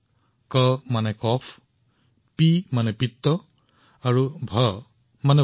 ইয়াত কা মানে কফ পি মানে পিত্ত আৰু ভা মানে বাত